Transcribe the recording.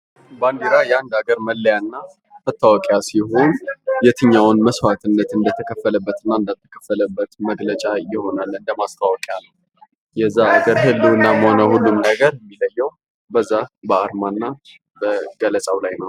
ባንዲራ የአንድ አገር መለያና መታወቂያ ሲሆን የትኛው መስዋትነት እንደተከፈለበትና እንዳልተከፈለበት መገለጫና ማስታወቂያ ይሆናል የዛ ነገር ህልውና መሆኑን በዛ አርማ እና ገለጻው ላይ ነው፡፡